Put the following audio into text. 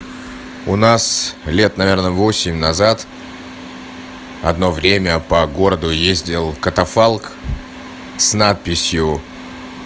у нас лет наверное восемь назад одно время по городу ездил катафалк с надписью